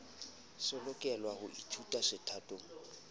se lokelwa ho ithutwa sethatong